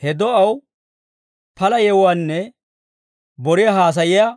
He do'aw pala yewuwaanne boriyaa haasayiyaa